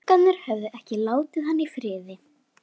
Gluggarnir höfðu ekki látið hann í friði.